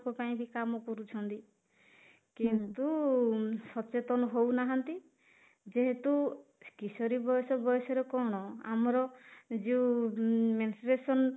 ଙ୍କ ପାଇଁ ବି କାମ କରୁଛନ୍ତି, କିନ୍ତୁ ସଚେତନ ହଉନାହାନ୍ତି ଯେହେତୁ କିଶୋରୀ ବୟସ ବୟସରେ କଣ ଆମର ଯୋଉ mensuration